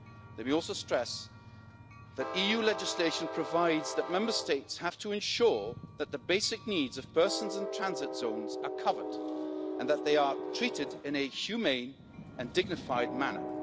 Let me also stress that EU legislation provides that Member States have to ensure that the basic needs of persons in transit zones are covered and that they are treated in a humane and dignified manner.